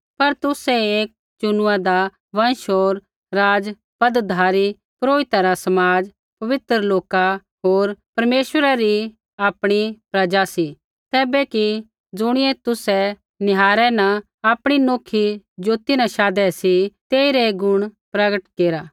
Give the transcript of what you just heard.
पर तुसै एक चुनुआदा वँश होर राज़पदधारी पुरोहिता रा समाज पवित्र लोका होर परमेश्वरै री आपणी प्रजा सी तैबै कि ज़ुणियै तुसै निहारै न आपणी नौखी ज्योति न शाधै सी तेइरै गुण प्रगट केरा